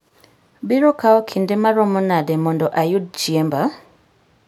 biro kawo kinde maromo nade mondo ayud chiemba?